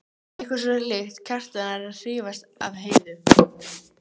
Eitthvað svo líkt Kjartani að hrífast af Heiðu.